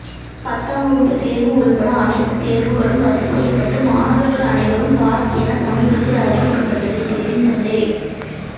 பத்தாம் வகுப்பு தேர்வு உள்பட அனைத்து தேர்வுகளும் ரத்து செய்யப்பட்டு மாணவர்கள் அனைவரும் பாஸ் என சமீபத்தில் அறிவிக்கப்பட்டது தெரிந்ததே